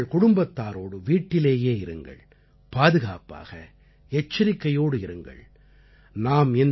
நீங்கள் உங்கள் குடும்பத்தாரோடு வீட்டிலேயே இருங்கள் பாதுகாப்பாக எச்சரிக்கையோடு இருங்கள்